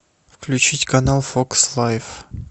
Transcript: включить канал фокс лайф